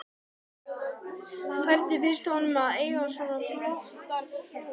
Hvernig finnst honum að eiga svona flottan hrút?